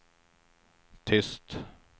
tyst